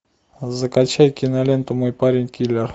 закачай киноленту мой парень киллер